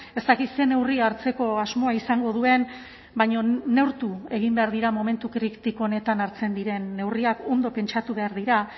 ez dakit zer neurri hartzeko asmoa izango duen baina neurtu egin behar dira momentu kritiko honetan hartzen diren neurriak ondo pentsatu behar dira